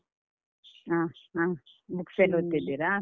ಹ ಹ books ಎಲ್ಲ ಓದ್ತೀರಾ?